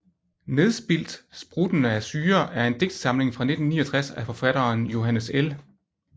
Nedspildt spruttende af syre er en digtsamling fra 1969 af forfatteren Johannes L